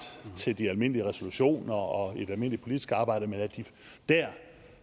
til de almindelige resolutioner og i det almindelige politisk arbejde